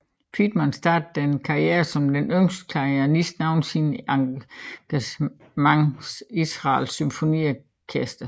Feidman startede sin karriere som den yngste klarinettist nogensinde et engagement Israels symfoniorkester